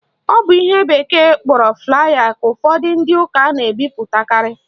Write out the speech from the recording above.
Ọ bụ ihe bekee kpọrọ flier ka ụfọdụ ndị ụka na-ebipụtakarị